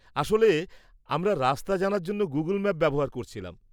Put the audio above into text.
আসলে আমরা রাস্তা জানার জন্য গুগল ম্যাপ ব্যবহার করছিলাম।